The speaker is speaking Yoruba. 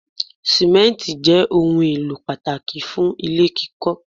Simenti jẹ́ ohùn èlò pàtàkì fún ilé kíkọ